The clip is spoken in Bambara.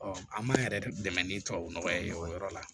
an m'an yɛrɛ dɛmɛ ni tubabu nɔgɔ ye o yɔrɔ la